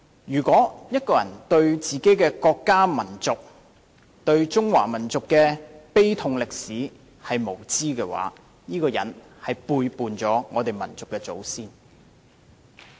如果中國人對自己的國家民族、對中華民族的慘痛歷史無知無覺，便是背叛了我們的祖先。